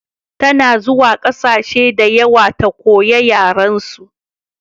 Ta na zuwa ƙasashe da yawa ta koya yaren su